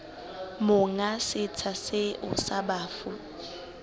monga setsha seo sa bafu